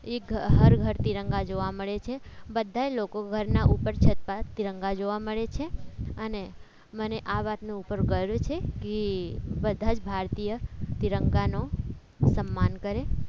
એક હાર ઘર તિરંગા જોવા મળે છે. બધા લોકો ઘરના ઉપર છત પર તિરંગા જોવા મળે છે અને મને આ વાતનું પણ ગર્વ છે કે બધા જ ભારતીય તિરંગાનો સન્માન કરે